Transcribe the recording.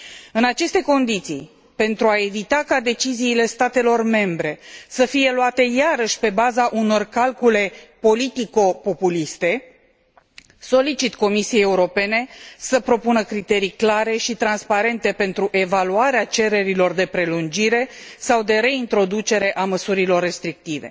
În aceste condiții, pentru a evita ca deciziile statelor membre să fie luate iarăși pe baza unor calcule politico populiste, solicit Comisiei Europene să propună criterii clare și transparente pentru evaluarea cererilor de prelungire sau de reintroducere a măsurilor restrictive.